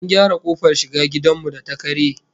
An gyara kofar shiga gidan mu da ta karye